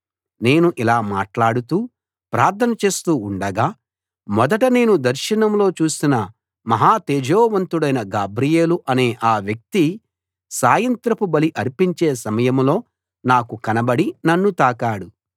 నేను ఇలా మాట్లాడుతూ ప్రార్థన చేస్తూ ఉండగా మొదట నేను దర్శనంలో చూసిన మహా తేజోవంతుడైన గాబ్రియేలూ అనే ఆ వ్యక్తి సాయంత్రపు బలి అర్పించే సమయంలో నాకు కనబడి నన్ను తాకాడు